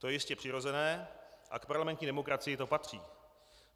To je jistě přirozené a k parlamentní demokracii to patří.